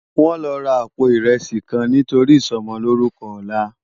Wòn lò rá àpó irèsí kán nitóri isòmòlórùkò òlá